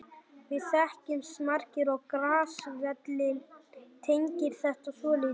Við þekkjumst margir og Grass-vélin tengir þetta svolítið.